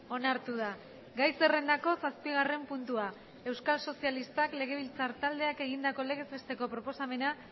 onartu da gai zerrendako zazpigarren puntua euskal sozialistak legebiltzar taldeak egindako legez besteko proposamena